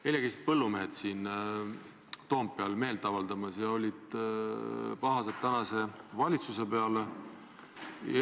Eile käisid põllumehed siin Toompeal meelt avaldamas ja olid valitsuse peale pahased.